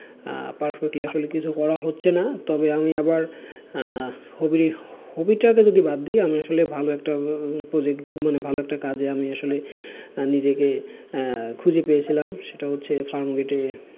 আহ perfectly আসলে কিছু করা হচ্ছে না তবে আমি আবার আহ hobby hobby টাকে যদি বাদ দিই আমি আসলে ভালো একটা আহ project মানে ভালো একটা কাজে আমি আসলে নিজেকে আহ খুঁজে পেয়েছিলাম সেটা হচ্ছে